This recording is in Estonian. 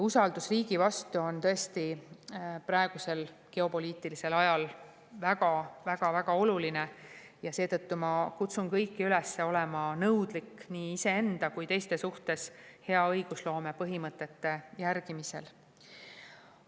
Usaldus riigi vastu on tõesti praegusel geopoliitilisel ajal väga-väga oluline ja seetõttu ma kutsun kõiki üles olema nõudlik nii iseenda kui ka teiste vastu hea õigusloome põhimõtete järgimisel.